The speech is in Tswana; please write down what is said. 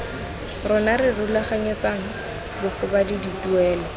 rona re rulaganyetsang bagobadi dituelo